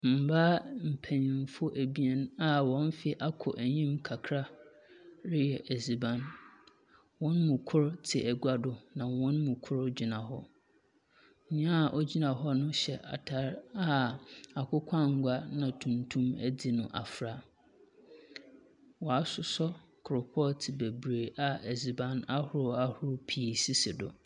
Mbaa mpenyinfo ebein a hɔn mfe akɔ enyim kakra reyɛ dziban. Hɔn mu kor tse agua do, na hɔn mu kor gyina hɔ. Nyea ogyina hɔ no hyɛ atar a akokɔanga na tuntum adzi no afra. Wɔasoɔ coal pot bebree a edziban ahorow ahorow pii sisi do.